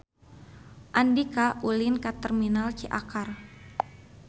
Andika ulin ka Terminal Ciakar